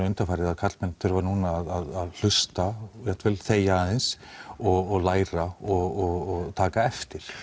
undanfarið að karlmenn þurfi núna að hlusta jafnvel þegja aðeins og læra og taka eftir